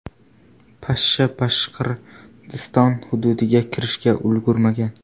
Pashsha Boshqirdiston hududiga kirishga ulgurmagan.